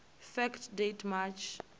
fact date march